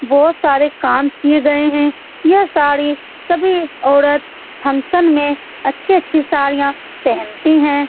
बहोत सारे काम किये गए है यह साड़ी सभी औरत फंक्शन में अच्छी अच्छी साड़ियां पहनती है।